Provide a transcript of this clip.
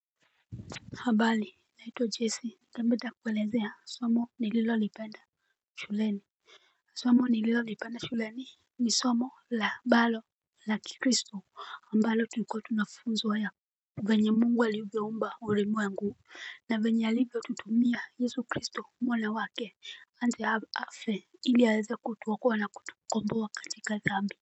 Habari naitwa jesse, ningependa kuelezea somo nililolipenda shuleni. Somo nililolipenda shuleni ni somo ambalo ni la kikristo tulikuwa tunafunzwa Venye Mungu alivyoumba ulimwengu na vyenye alivyotutumia Yesu kristo mwana wake aje afe ili aweze kutuokoa na kutukomboa katika dhambi.